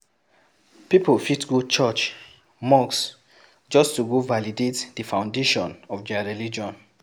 Pipo fit go church, mosque just to go validate the foundation of their religion